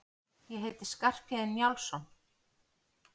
Ég heiti Skarphéðinn Njálsson!